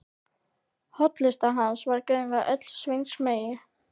Hollusta hans var greinilega öll Sveins megin.